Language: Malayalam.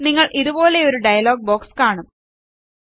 നിങ്ങൾ ഇതുപോലെയൊരു ഡയലോഗ് ബോക്സ് കാണും